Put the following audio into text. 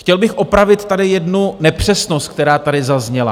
Chtěl bych opravit tady jednu nepřesnost, která tady zazněla.